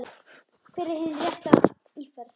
Hver er hin rétta íferð?